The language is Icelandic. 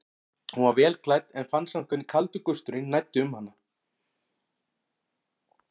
Hún var vel klædd en fann samt hvernig kaldur gusturinn næddi um hana.